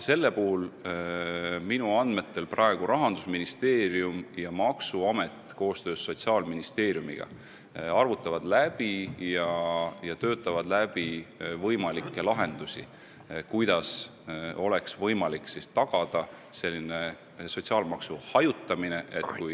Selle puhul minu andmetel praegu Rahandusministeerium ja maksuamet koostöös Sotsiaalministeeriumiga arvutavad läbi ja töötavad läbi võimalikke lahendusi, kuidas oleks võimalik tagada selline sotsiaalmaksu hajutamine, et kui ...